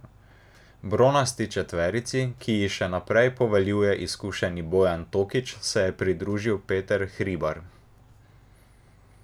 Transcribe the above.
Bronasti četverici, ki ji še naprej poveljuje izkušeni Bojan Tokić, se je pridružil Peter Hribar.